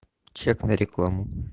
чек на рекламу